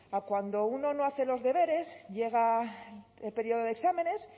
a cuando uno no hace los deberes llega el periodo de exámenes